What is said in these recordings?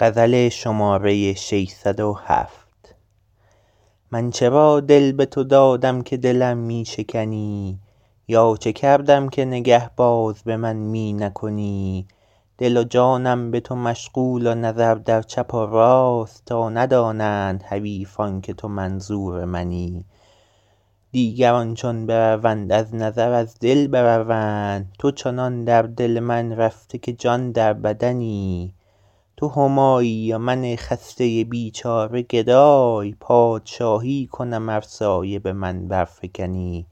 من چرا دل به تو دادم که دلم می شکنی یا چه کردم که نگه باز به من می نکنی دل و جانم به تو مشغول و نظر در چپ و راست تا ندانند حریفان که تو منظور منی دیگران چون بروند از نظر از دل بروند تو چنان در دل من رفته که جان در بدنی تو همایی و من خسته بیچاره گدای پادشاهی کنم ار سایه به من برفکنی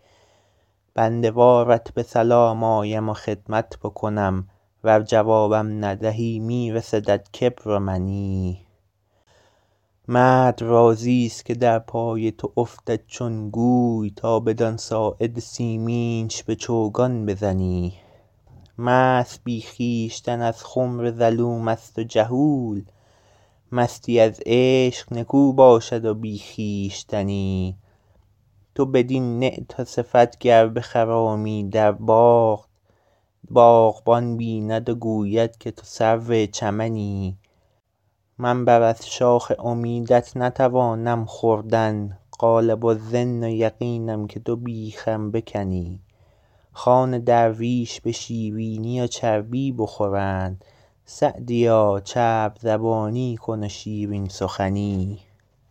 بنده وارت به سلام آیم و خدمت بکنم ور جوابم ندهی می رسدت کبر و منی مرد راضیست که در پای تو افتد چون گوی تا بدان ساعد سیمینش به چوگان بزنی مست بی خویشتن از خمر ظلوم است و جهول مستی از عشق نکو باشد و بی خویشتنی تو بدین نعت و صفت گر بخرامی در باغ باغبان بیند و گوید که تو سرو چمنی من بر از شاخ امیدت نتوانم خوردن غالب الظن و یقینم که تو بیخم بکنی خوان درویش به شیرینی و چربی بخورند سعدیا چرب زبانی کن و شیرین سخنی